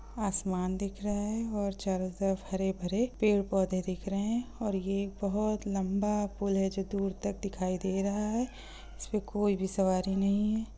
आसमान दिख रहा है और चारो तरफ हरे-भरे पेड़-पौधे दिख रहें और यह बहोत लंबा पूल है जो दूर तक दिखाई दे रहा है। इसमे कोई भी सवारी नहीं है।